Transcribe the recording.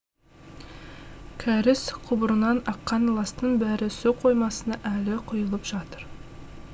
кәріз құбырынан аққан ластың бәрі су қоймасына әлі құйылып жатыр